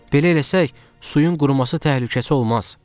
Belə eləsək, suyun quruması təhlükəsi olmaz.